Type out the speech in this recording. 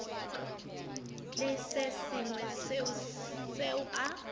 le se sengwe seo a